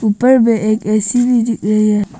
ऊपर में एक ए_सी भी दिख रही है।